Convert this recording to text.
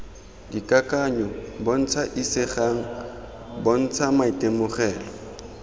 dikakanyo bontsha isegang bontsha maitemogelo